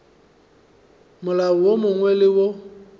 molao wo mongwe le wo